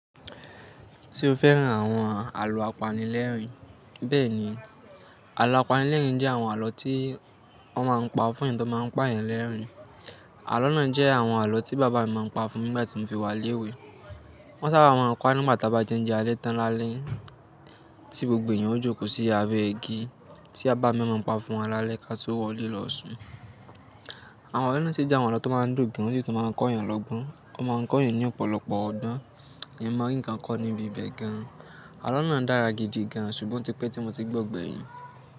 Ṣé o fẹ́ràn àwọn àlọ́ apanilẹ́rìn? Bẹ́ẹ̀ni, àlọ́ apanilẹ́rìn jẹ́ àwọn àlọ́ tí wọ́n máa ń pa fún eeyan tó máa ń pa eeyan lẹ́rìn-ín. Àlọ́ náà jẹ́ àwọn àlọ́ tí bàbá mi máa ń pa fún mi nígbà tí mo fi wá léwé. Wọ́n sábà máa ń pa á nígbà ta bá jẹun ounjẹ alé tán lálẹ́ tí gbogbo èèyàn ó jókòó sí abẹ́ igi tí babá o maa pa fún wa lálẹ́ ká tó wọlé lọ́ṣùn. Àwọn alo náà sì jẹ́ àwọn àlọ́ tó máa ń dun gan, ó sì tó máa ń kọ́ èèyàn lọ́gbọ́n. Wọ́n máa ń kọ́ èèyàn ní ọ̀pọ̀lọpọ̀ ọgbọ́n. Eeyan maa rí nnkán kọ́ ní ibi ibẹ̀ gan. Àlọ́ náà dára gidi gan, ṣùgbọ́n ó ti pẹ́ tí mo ti gbọ́ gbẹ̀yìn.